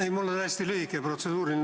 Ei, mul on hästi lühike protseduuriline.